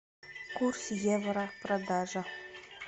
курс евро продажа